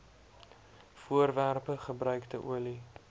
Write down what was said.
voorwerpe gebruikte olie